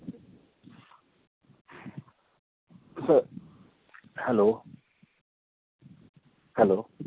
स hello? hello?